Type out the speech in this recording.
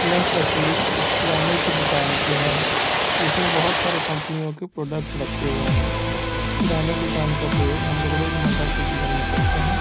यह तस्वीर एक किराने के दुकान की है जिसमें बहुत सारे कंपनी के प्रोडक्ट रखे हैं किराने दुकान का प्रयोग हम लोग रोजमर्रा के जीवन में करते हैं।